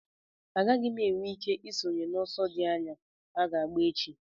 Agaghị m enwe ike isonye n'ọsọ dị anya aga agba echi